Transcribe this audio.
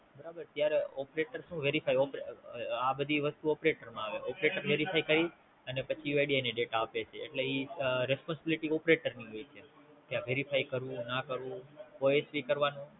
બરાબર ત્યારે Operator Su Verify ઓપ આ બધી વસ્તુ Operator માં આવે Operator verify કરી ઈ વાય ડી એને દેતા આપે છે એટલે ઈ Responsibility operator ની હોય છે Verify કરવું ના કરવું ઓ એચ પી કરવાનું